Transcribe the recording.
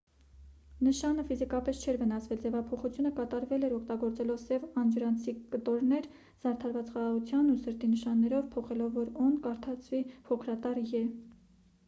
նշանը ֆիզիկապես չէր վնասվել․ ձևափոխությունը կատարվել էր՝ օգտագործելով սև անջրանցիկ կտորներ՝ զարդարված խաղաղության ու սրտի նշաններով փոխելով որ «օ»-ն կարդացվի փոքրատառ «ե»։